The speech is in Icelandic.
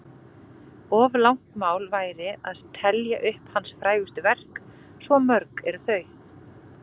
Of langt mál væri að telja upp hans frægustu verk, svo mörg eru þau.